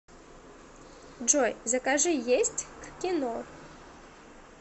джой закажи есть к кино